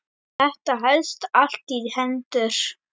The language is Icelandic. Þetta helst allt í hendur